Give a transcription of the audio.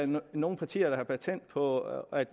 nogen partier der har patent på at